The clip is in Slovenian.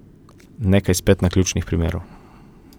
Nekaj spet naključnih primerov.